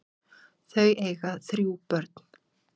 Þau eiga þrjú börn.